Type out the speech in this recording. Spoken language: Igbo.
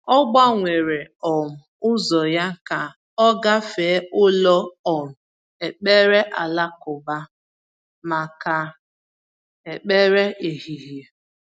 Ọ gbanwere um ụzọ ya ka ọ gafee ụlọ um ekpere alakụba maka ekpere ehihie.